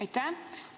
Aitäh!